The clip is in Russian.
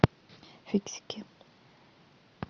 фиксики